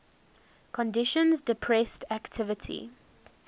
conditions depressed activity